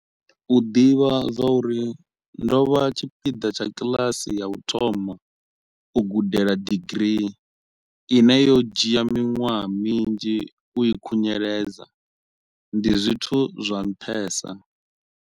U ḓivha zwauri ndo vha tshipiḓa tsha kiḽasi ya u thoma u gudela digirii, ine yo dzhia miṅwaha minzhi u i khunyeledza, ndi zwithu zwa nṱhesa.